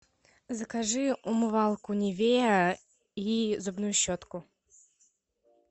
закажи умывалку нивея и зубную щетку